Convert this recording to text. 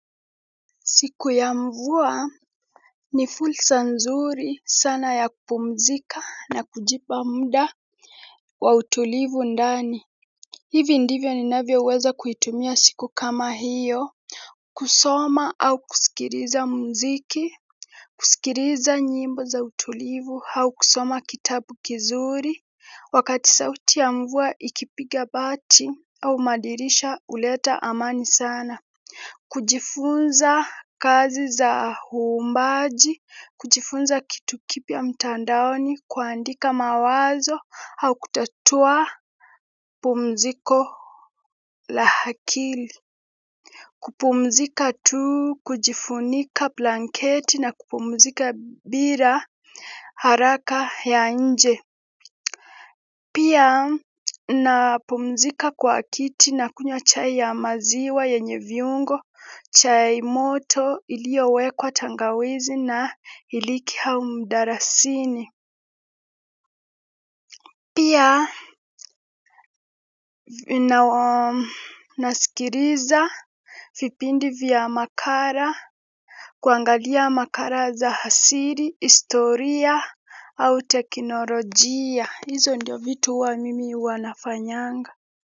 Siku ya mvua ni fursa nzuri sana ya kupumzika na kujipa muda wa utulivu ndani. Hivi ndivyo ninavyo weza kuitumia siku kama hiyo. Kusoma au kusikiriza mziki. Kusikiliza nyimbo za utulivu au kusoma kitabu kizuri. Wakati sauti ya mvua ikipiga bati au madirisha huleta amani sana. Kujifunza kazi za uumbaji, kujifunza kitu kipya mtandaoni, kuandika mawazo au kutatua pumziko la akili. Kupumzika tu, kujifunika blanketi na kupumzika bila haraka ya nje. Pia napumzika kwa kiti nakunywa chai ya maziwa yenye viungo, chai moto iliyowekwa tangawizi na iliki au mdalasini. Pia ninasikiliza vipindi vya makala, kuangalia makala za asili, historia au teknolojia. Hizo ndio vitu huwa mimi huwa nafanyanga.